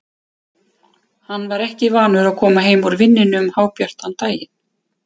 Hann var ekki vanur að koma heim úr vinnunni um hábjartan daginn.